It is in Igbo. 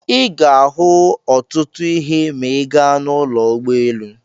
Ị ga-ahụ ọtụtụ ihe ma ị gaa n'ụlọ ụgbọelu.